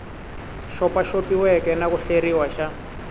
xopaxopiweke na ku hleriwa xa